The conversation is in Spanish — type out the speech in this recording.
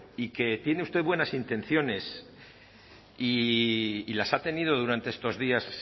y que tiene usted buenas intenciones y las ha tenido durante estos días